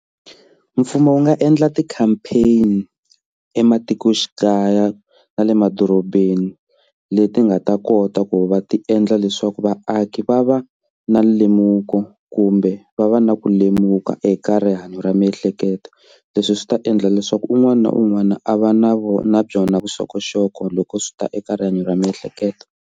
Mfumo wu nga endla ti-campaign ematikoxikaya na le madorobeni leti nga ta kota ku va ti endla leswaku vaaki va va na le muako kumbe va va na ku lemuka eka rihanyo ra miehleketo leswi swi ta endla leswaku un'wana na un'wana a va na vo na byona vuxokoxoko loko swi ta eka rihanyo ra miehleketo.